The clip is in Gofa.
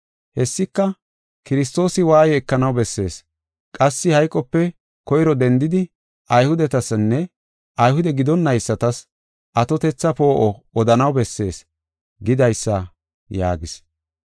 Hessika, ‘Kiristoosi waaye ekanaw bessees; qassi hayqope koyro dendidi Ayhudetasinne Ayhude gidonaysatas atotetha poo7o odanaw bessees’ gidaysa” yaagis.